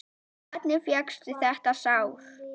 Hvernig fékkstu þetta sár?